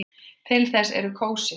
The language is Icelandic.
Til þess eru kósí föt.